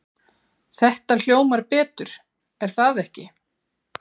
Þetta hljómar betur er það ekki?